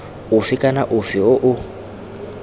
ofe kana ofe o o